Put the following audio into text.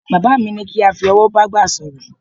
Bàbá mi ní kí a fi ọ̀wọ̀ bágbà sọ̀rọ̀